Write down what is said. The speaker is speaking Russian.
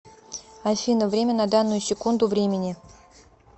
афина время на данную секунду времени